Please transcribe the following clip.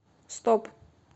стоп